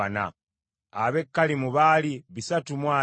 ab’e Kalimu baali bisatu mu abiri (320),